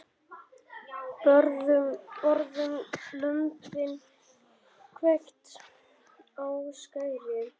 Borðum lömbin, hvekkt á skeri.